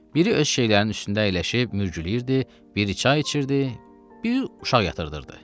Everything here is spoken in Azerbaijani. Biri öz şeylərinin üstündə əyləşib mürgüləyirdi, biri çay içirdi, bir uşaq yatırdırdı.